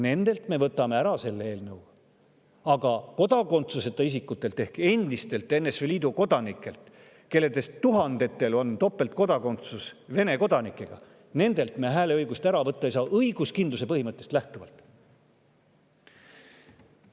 Nendelt me võtame ära selle eelnõuga, aga kodakondsuseta isikutelt ehk endistelt NSV Liidu kodanikelt, kellest tuhandetel on topeltkodakondsus Venemaaga, me hääleõigust ära võtta ei saa õiguskindluse põhimõttest lähtuvalt.